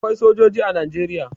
Akwai sojoji a Najeriya.